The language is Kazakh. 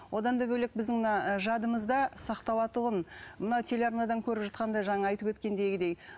одан да бөлек біздің мына жадымызда сақталатұғын мынау телеарнадан көріп жатқандай жаңа айтып өткендегідей